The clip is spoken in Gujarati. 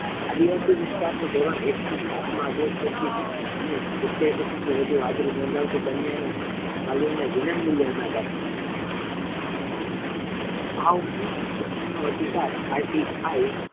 આદિવાસી વિસ્તાર ની ધોરણ એક થી સાત મા અભ્યાસ કરતી અને સીતેર ટકા થી વધુ હાજરી નોધાવતી કન્યાના વાલીયોને વિનામૂલ્ય અનાજ આપવામા આવે છે આ ઉપરાંત શિક્ષણ નો અધિકાર RTI